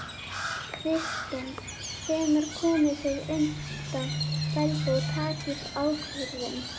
Kristinn: Hvenær komið þið undan feldi og takið ákvörðun?